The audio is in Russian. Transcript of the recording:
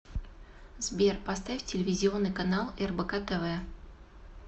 сбер поставь телевизионный канал рбк тв